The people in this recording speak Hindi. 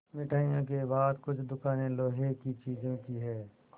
मिठाइयों के बाद कुछ दुकानें लोहे की चीज़ों की हैं